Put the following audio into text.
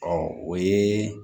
Ɔ o ye